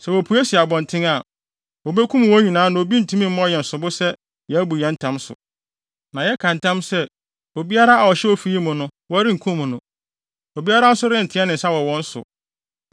Sɛ wopue si abɔnten a, wobekum wɔn nyinaa na obi ntumi mmɔ yɛn sobo sɛ yɛabu yɛn ntam so. Na yɛka ntam sɛ, obiara a ɔhyɛ ofi yi mu no, wɔrenkum no. Obiara nso renteɛ ne nsa wɔ wɔn so.